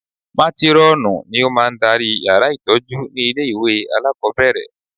Mátírọ́ọ̀nù ni ó máa ń darí yàrá ìtọ́jú ní ilé ìwé alákọ̀ọ́bẹ̀rẹ̀